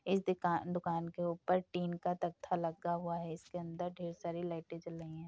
इस दुका दुकान के ऊपर टिन का तख्ता लगा हुआ है। इसके अंदर ढ़ेर सारी लाइटें जल रही हैं।